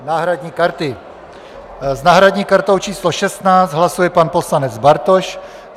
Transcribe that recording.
S náhradní kartou číslo 16 hlasuje pan poslanec Bartoš.